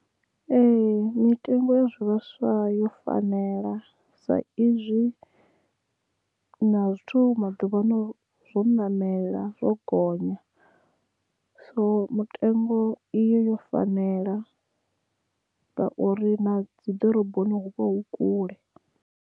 Ee mitengo ya zwivhaswa yo fanela sa izwi na zwithu maḓuvha ano zwo ṋamela zwo gonya so mutengo i yo yo fanela ngauri na dzi ḓoroboni hu vha hu kule.